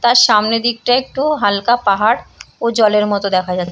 তার সামনে দিকটায় একটু হালকা পাহাড় ও জলের মতো দেখা যা --